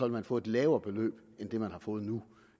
man få et lavere beløb end det man har fået nu